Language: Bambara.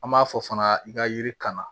An b'a fɔ fana i ka yiri kan na